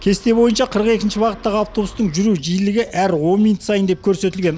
кесте бойынша қырық екінші бағыттағы автобустың жүру жиілігі әр он минут сайын деп көрсетілген